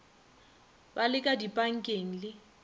ba le ka dipankeng le